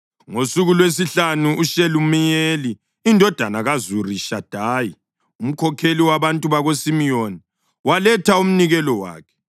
Ngosuku lwesihlanu uShelumiyeli indodana kaZurishadayi, umkhokheli wabantu bakaSimiyoni waletha umnikelo wakhe.